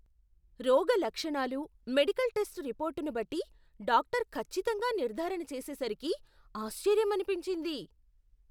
రోగ లక్షణాలు, medical test రిపోర్ట్ను బట్టి డాక్టర్ ఖచ్చితంగా నిర్ధారణ చేసేసరికి ఆశ్చర్యమనిపించింది!